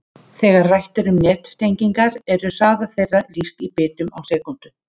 Þegar rætt er um nettengingar eru hraða þeirra lýst í bitum á sekúndu.